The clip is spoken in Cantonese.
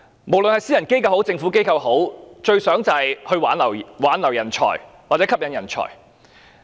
無論是私人機構或政府機構，最希望他們能夠挽留人才或吸引人才。